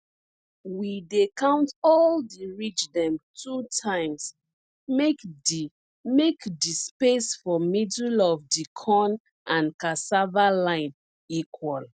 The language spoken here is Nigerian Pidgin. we dey count all di ridge dem two times make di make di space for middle of di corn and cassava line equal